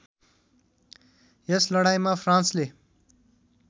यस लडाईँँमा फ्रान्सले